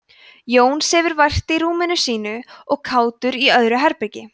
jón sefur vært í rúminu sínu og kátur í öðru herbergi